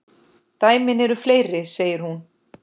Dæmin eru fleiri, segir hún.